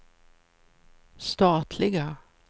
statliga